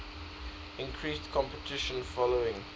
increased competition following